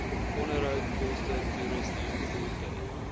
onderhoudkoste toerusting voertuie